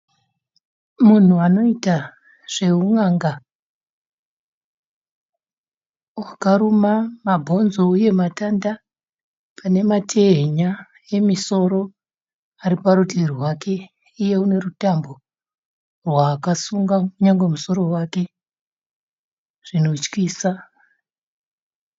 Munhu anoita zvehun'anga. Akaruma mabonzo uye matanda. Panematehenya emusoro ariparutivi rwake. Iye anerutambo rwaakasunga nyangwe musoro wake zvinotyisa.